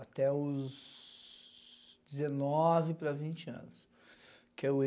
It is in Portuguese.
Até os dezenove para vinte anos.